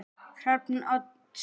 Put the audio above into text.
Hrafn Oddsson